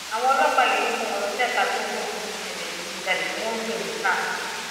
àwọn ọlọpàá yìí ló kó wọn lọ ṣèkà tó ń gbógun ti ìṣẹlẹ ìdígunjalè tí wọn ń pè ní sars